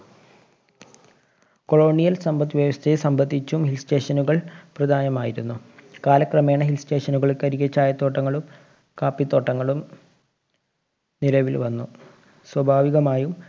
Colonial സമ്പത്ത് വ്യവസ്ഥയെ സംബന്ധിച്ചും hill station കള്‍ പ്രധാനമായിരുന്നു. കാലക്രമേണ hill station കള്‍ക്കരികെ ചായത്തോട്ടങ്ങളും കാപ്പിത്തോട്ടങ്ങളും നിലവില്‍ വന്നു. സ്വഭാവികമായും